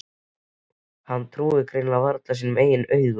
Hann trúir greinilega varla sínum eigin augum.